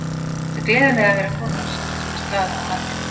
Það gleður mig að vera kominn á svartasta staðinn á landinu.